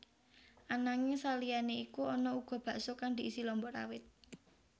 Ananging saliyané iku ana uga bakso kang diisi lombok rawit